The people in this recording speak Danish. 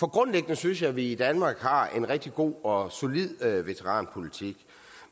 grundlæggende synes jeg at vi i danmark har en rigtig god og solid veteranpolitik